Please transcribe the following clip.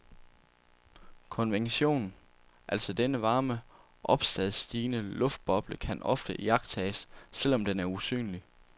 Konvektion, altså denne varme opadstigende luftboble, kan ofte iagttages, selvom den er usynlig.